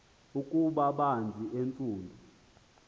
ukuba banzi entsundu